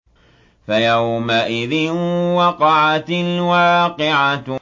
فَيَوْمَئِذٍ وَقَعَتِ الْوَاقِعَةُ